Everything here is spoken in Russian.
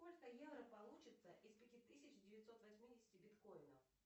сколько евро получится из пяти тысяч девятьсот восьмидесяти биткоинов